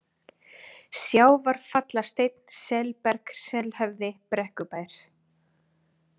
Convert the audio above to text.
Sjávarfallasteinn, Selberg, Selhöfði, Brekkubær